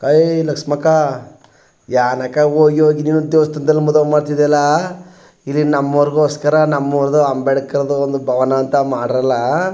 ಕಳಲಿ ಲಕ್ಷಮ್ಮಕ್ಕಾ ಯಾನಕ್ ಹೋಗಿ ಹೋಗಿ ನಿನಗೆ ದೇವಸ್ಥಾನದಲ್ಲಿ ಮದ್ವೆ ಮಾಡತ್ತಿದಿಯಲ್ಲಾ ಇಲ್ಲಿ ನಮ್ಮೋರಿಗೋಸ್ಕರ ನಮ್ಮೂರುದು ಅಂಬೇಡ್ಕರ್ ದು ಒಂದು ಭವನ ಅಂತ ಮಾಡ್ರಲಾ --